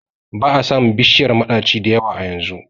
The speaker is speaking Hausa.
ba a samun bishiyar madaci da yawa a yanzu